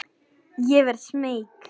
Ég verð smeyk.